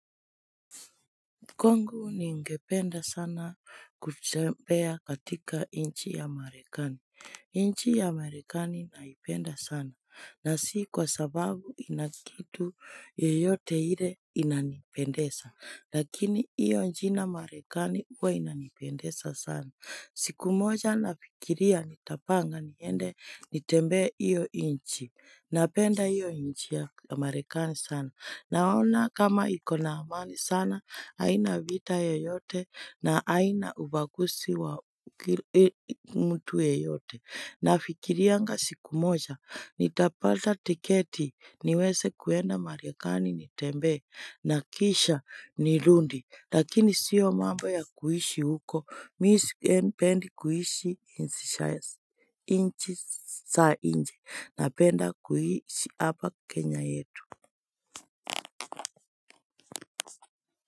Kongu ni ngependa sana kutempea katika inchi ya marekani. Nchi ya marekani naipenda sana. Na si kwa sababu inakitu yeyote ile inanipendesa. Lakini iyo njina marekani uwa inanipendesa sana. Siku moja nafikiria nitapanga niende nitembea iyo inchi. Napenda iyo inchi ya marekani sana. Naona kama ikona amani sana, haina vita ya yote na haina ubagusi wa mtu ya yote. Nafikirianga siku moja, nitapada tiketi, niweze kuenda marikani nitembe, nakisha nilundi. Lakini sio mambo ya kuhishi huko, mi sipendi kuhishi inchi sa nje, napenda kuhishi hapa kenya yetu.